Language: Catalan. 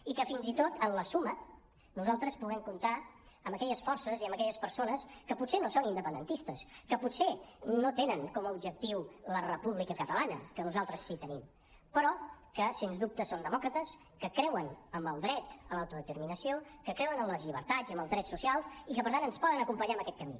i que fins i tot en la suma nosaltres puguem comptar amb aquelles forces i amb aquelles persones que potser no són independentistes que potser no tenen com a objectiu la república catalana que nosaltres sí que tenim però que sens dubte són demòcrates que creuen en el dret a l’autodeterminació que creuen en les llibertats i en els drets socials i que per tant ens poden acompanyar en aquest camí